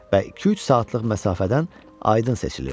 Və iki-üç saatlıq məsafədən aydın seçilirdi.